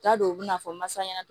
T'a don u bɛna fɔ masa ɲɛna